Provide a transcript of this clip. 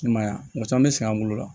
I m'a ye a muso caman be sɛgɛn an bolo la